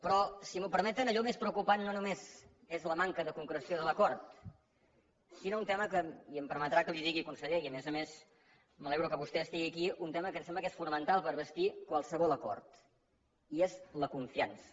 però si m’ho permeten allò més preocupant no només és la manca de concreció de l’acord sinó un tema que i em permetrà que li ho digui conseller i a més a més m’alegro que vostè estigui aquí em sembla que és fonamental per bastir qualsevol acord i és la confiança